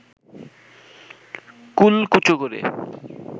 কুলকুচো করে